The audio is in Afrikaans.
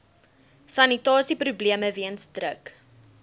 sanitasieprobleme weens druk